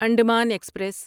Andaman express